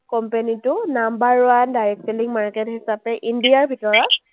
company টো number one direct selling market হিচাপে India ৰ ভিতৰত